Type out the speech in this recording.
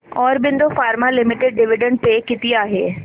Aurobindo pharma limited dividend पे किती आहे